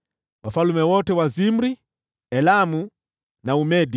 wafalme wote wa Zimri, Elamu na Umedi;